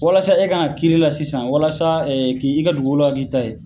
Walasa e ka kiiri la sisan walasa k'i i ka dugukolo ka k'i ta ye